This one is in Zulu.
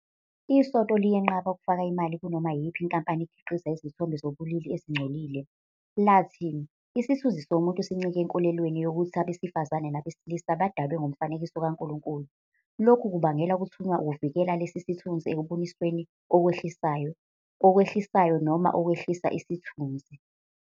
ISonto liyenqaba ukufaka imali kunoma iyiphi inkampani ekhiqiza izithombe zobulili ezingcolile, lathi, "Isithunzi somuntu sincike enkolelweni yokuthi abesifazane nabesilisa badalwe ngomfanekiso kaNkulunkulu. Lokhu kubangela ukuthunywa ukuvikela lesi sithunzi ekubonisweni okwehlisayo, okwehlisayo, noma okwehlisa isithunzi.